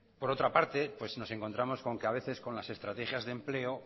por otra parte pues nos encontramos con que a veces con las estrategias de empleo